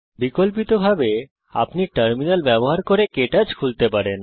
বিকল্পিতভাবে আপনি টার্মিনাল ব্যবহার করে কে টচ খুলতে পারেন